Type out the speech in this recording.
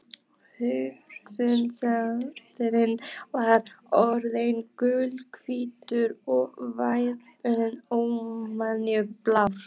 Hörundsliturinn var orðinn gulhvítur og varirnar óvenju bláar.